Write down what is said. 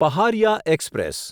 Paharia express